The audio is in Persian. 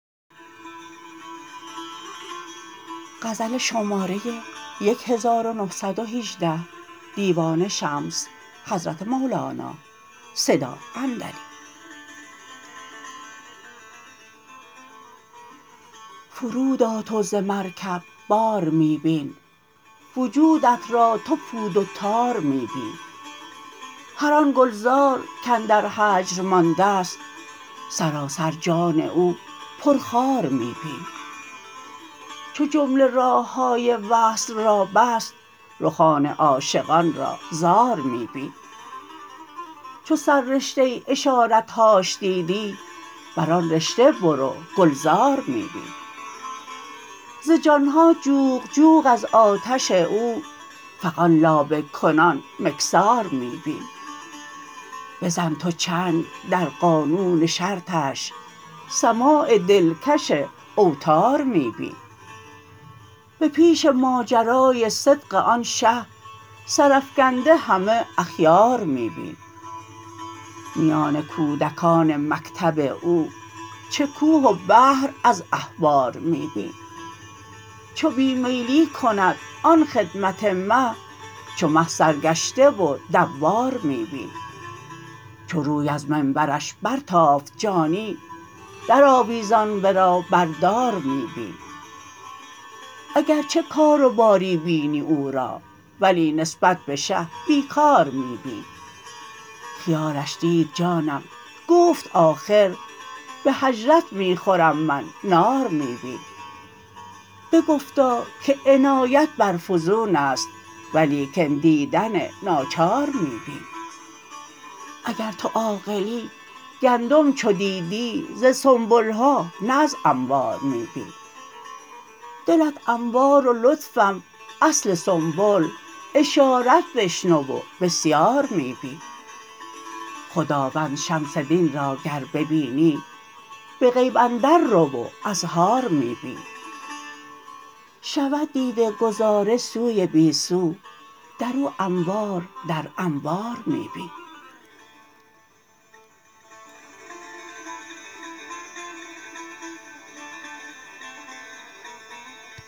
فرود آ تو ز مرکب بار می بین وجودت را تو پود و تار می بین هر آن گلزار کاندر هجر مانده ست سراسر جان او پرخار می بین چو جمله راه های وصل را بست رخان عاشقان را زار می بین چو سررشته اشارت هاش دیدی بر آن رشته برو گلزار می بین ز جان ها جوق جوق از آتش او فغان لابه کنان مکثار می بین بزن تو چنگ در قانون شرطش سماع دلکش اوتار می بین به پیش ماجرای صدق آن شه سرافکنده همه اخیار می بین میان کودکان مکتب او چه کوه و بحر از احبار می بین چو بی میلی کند آن خدمت مه چو مه سرگشته و دوار می بین چو روی از منبرش برتافت جانی درآویزان ورا بر دار می بین اگر چه کار و باری بینی او را ولی نسبت به شه بی کار می بین خیالش دید جانم گفت آخر به هجرت می خورم من نار می بین بگفتا که عنایت بر فزون است ولیکن دیدن ناچار می بین اگر تو عاقلی گندم چو دیدی ز سنبل ها نه از انبار می بین دلت انبار و لطفم اصل سنبل اشارت بشنو و بسیار می بین خداوند شمس دین را گر ببینی به غیب اندر رو و ازهار می بین شود دیده گذاره سوی بی سو در او انوار در انوار می بین